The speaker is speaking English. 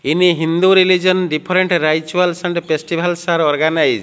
in hindu religion different rituals and festivals are organised.